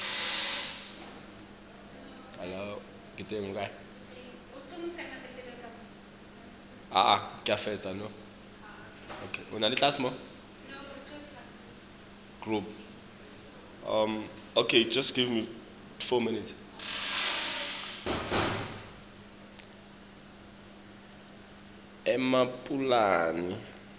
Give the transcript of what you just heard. emapulani